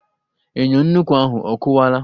Enyo nnukwu ahụ a kụwaala